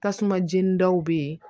Tasuma jeni dɔw be yen